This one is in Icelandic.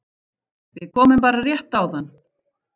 Við komum bara rétt áðan